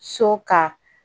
So ka